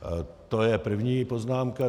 To je první poznámka.